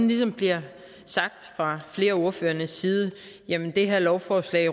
ligesom bliver sagt fra flere af ordførernes side at det her lovforslag